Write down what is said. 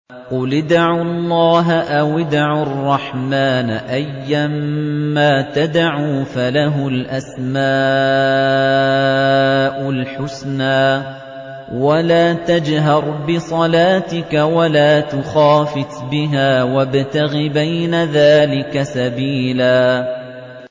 قُلِ ادْعُوا اللَّهَ أَوِ ادْعُوا الرَّحْمَٰنَ ۖ أَيًّا مَّا تَدْعُوا فَلَهُ الْأَسْمَاءُ الْحُسْنَىٰ ۚ وَلَا تَجْهَرْ بِصَلَاتِكَ وَلَا تُخَافِتْ بِهَا وَابْتَغِ بَيْنَ ذَٰلِكَ سَبِيلًا